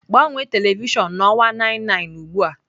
Gbanwee telivishọn na ọwa 99 ugbu a!